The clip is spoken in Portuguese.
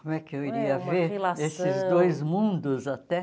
Como é que eu iria ver esses dois mundos, até?